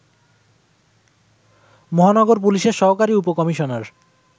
মহানগর পুলিশের সহকারী উপ-কমিশনার